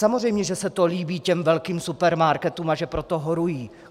Samozřejmě že se to líbí těm velkým supermarketům a že pro to horují.